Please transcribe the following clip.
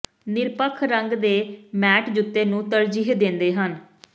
ਨਿਰਪੱਖ ਰੰਗ ਦੇ ਮੈਟ ਜੁੱਤੇ ਨੂੰ ਤਰਜੀਹ ਦਿੰਦੇ ਹਨ